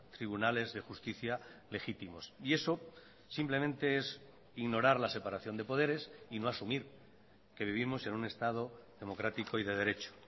tribunales de justicia legítimos y eso simplemente es ignorar la separación de poderes y no asumir que vivimos en un estado democrático y de derecho